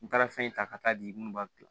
N taara fɛn in ta ka taa di munnu b'a dilan